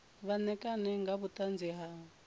vha ṋekane nga vhuṱanzi ha